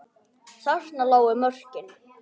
Þarna lágu mörkin.